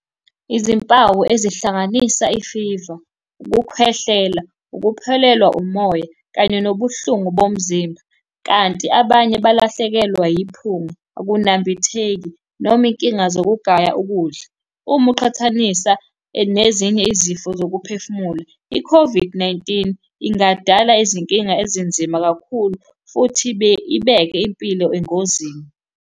Izimpawu ezihlanganisa i-fever, ukukhwehlela, ukuphelelwa umoya, kanye nobuhlungu bomzimba, kanti abanye balahlekelwa yiphunga akunambitheki, noma inkinga zokugaya ukudla. Uma uqhathanisa nezinye izifo zokuphefumula, i-COVID-19 ingadala izinkinga ezinzima kakhulu, futhi ibeke impilo engozini.